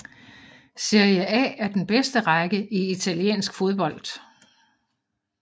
Serie A er den bedste række i italiensk fodbold